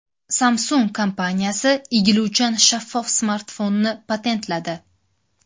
Samsung kompaniyasi egiluvchan shaffof smartfonni patentladi.